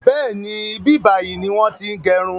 Bẹ́ẹ̀ni, ibi báyìí ni wọn ti ń gẹrun